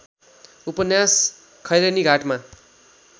उपन्यास खैरेनीघाटमा